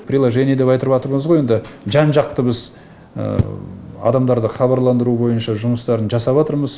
приложение деп айтыватырмыз ғой енді жан жақты біз адамдарды хабарландыру бойынша жұмыстарын жасаватырмыз